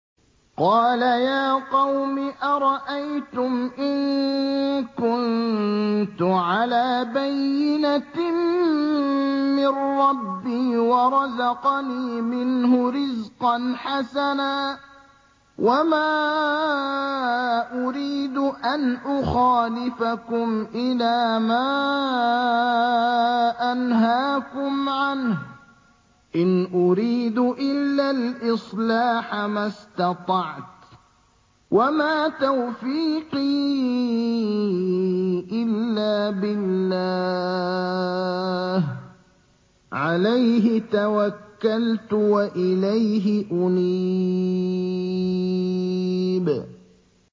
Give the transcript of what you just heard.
قَالَ يَا قَوْمِ أَرَأَيْتُمْ إِن كُنتُ عَلَىٰ بَيِّنَةٍ مِّن رَّبِّي وَرَزَقَنِي مِنْهُ رِزْقًا حَسَنًا ۚ وَمَا أُرِيدُ أَنْ أُخَالِفَكُمْ إِلَىٰ مَا أَنْهَاكُمْ عَنْهُ ۚ إِنْ أُرِيدُ إِلَّا الْإِصْلَاحَ مَا اسْتَطَعْتُ ۚ وَمَا تَوْفِيقِي إِلَّا بِاللَّهِ ۚ عَلَيْهِ تَوَكَّلْتُ وَإِلَيْهِ أُنِيبُ